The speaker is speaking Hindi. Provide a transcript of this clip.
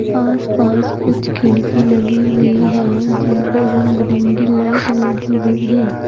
आस पास कुछ खिड़की लगी हुई है जिनपर रंग बिरंगी लाइट लगी हुई है।